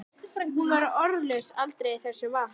Hún var orðlaus aldrei þessu vant.